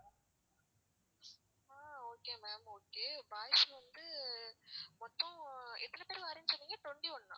ஆஹ் okay ma'am okay boys வந்து மொத்தம் எத்தநை பேர் வாரீங்கன்னு சொன்னீங்க twenty-one னா?